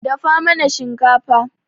Dafa mana shinkafa.